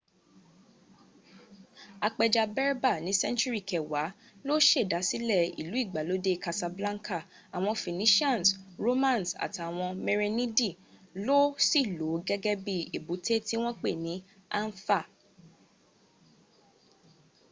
apẹja berber ní sẹ́ńtúrì kẹwàá ló sèdásílẹ̀ ìlú ìgbàlódé casablanca àwọn phoenicians romans àtàwọn merenidi ló sì lòó gẹ́gẹ́ bí i èbúté tí wọ́n pè ní anfa